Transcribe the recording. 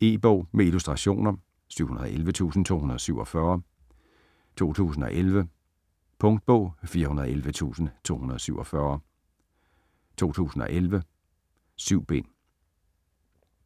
E-bog med illustrationer 711247 2011. Punktbog 411247 2011. 7 bind.